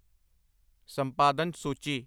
ਸੰਪਾਦਨ ਸੂਚੀ